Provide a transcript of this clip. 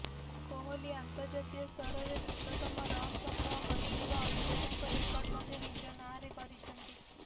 କୋହଲି ଆନ୍ତର୍ଜାତୀୟ ସ୍ତରରେ ଦ୍ରୁତତମ ରନ୍ ସଂଗ୍ରହ କରିଥିବା ଅଧିନାୟକ ରେକର୍ଡ ମଧ୍ୟ ନିଜ ନାଁରେ କରିଛନ୍ତି